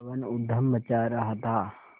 पवन ऊधम मचा रहा था